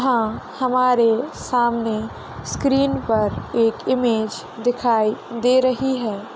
यहाँ हमारे सामने स्क्रीन पर एक इमेज दिखाई दे रही है।